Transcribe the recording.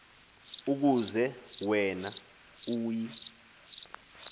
ukuze wena uyi